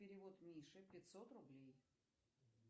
перевод мише пятьсот рублей